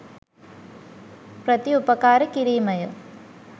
ප්‍රතිඋපකාර කිරීමය.